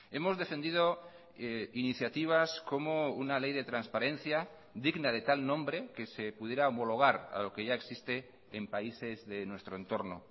hemos defendido iniciativas como una ley de transparencia digna de tal nombre que se pudiera homologar a lo que ya existe en países de nuestro entorno